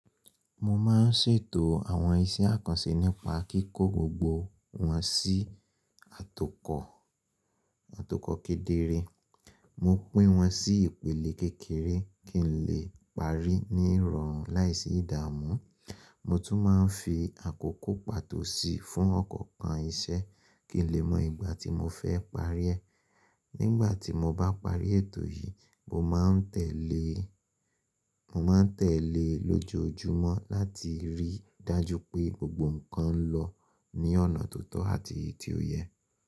Mo máa ń ṣètò àwọn iṣẹ́ àkànṣe nípa kíkó gbogbo wọn sí atokò kedere. Mo pín wọn sí ìpele kékeré kí n lè parí ní ìrọ̀rùn láìsí ìdààmú. Mo tún máa ń fi àkókò pàtó sí fún ọ̀kọ̀ọ̀kan iṣẹ́ kí n lè mọ ìgbà tí mo fẹ́ parí ẹ. Nígbà tí mo bá parí ètò yìí, mo máa n tẹ̀lé lójoojúmọ́ láti rí i dájú pé gbogbo nǹkan lọ ní ọ̀nà tó tọ́ àti ti ò yẹ.